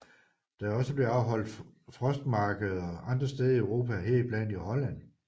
Der er også blevet afholdt frostmarkeder andre steder i Europa heriblandt i Holland